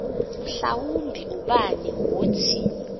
mhlawumbi ubani wothi